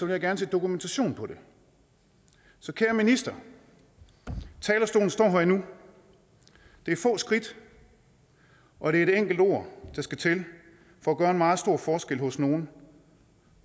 jeg gerne se dokumentation på det så kære minister talerstolen står her endnu det er få skridt og det er et enkelt ord der skal til for at gøre en meget stor forskel hos nogle